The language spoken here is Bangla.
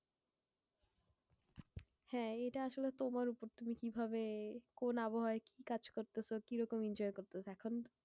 হ্যাঁ এইটা আসলে তোমার উপর, তুমি কি ভাবে কোন আবহাওয়াই কি কাজ করতেছ? কিরকম enjoy করতেছ? এখন